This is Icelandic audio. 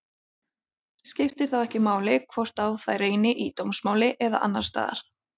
Skiptir þá ekki máli hvort á þær reynir í dómsmáli eða annars staðar.